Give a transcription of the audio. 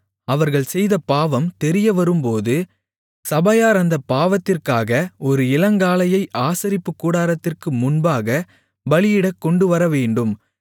அவர்கள் செய்த பாவம் தெரியவரும்போது சபையார் அந்தப் பாவத்திற்காக ஒரு இளங்காளையை ஆசரிப்புக்கூடாரத்திற்கு முன்பாக பலியிடக் கொண்டுவரவேண்டும்